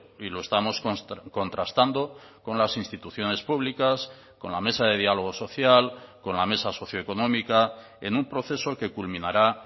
y lo estamos contrastando con las instituciones públicas con la mesa de diálogo social con la mesa socioeconómica en un proceso que culminará